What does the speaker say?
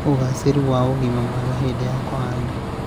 ũgaacĩru na ũgima mwega hĩndĩ ya kũhanda.